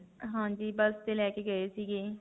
ਹਾਂਜੀ. ਬਸ ਤੇ ਲੈ ਕੇ ਗਏ ਸੀਗੇ.